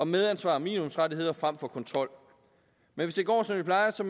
medansvar og minimumsrettigheder frem for kontrol men hvis det går som det plejer så